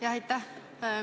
Jah, aitäh!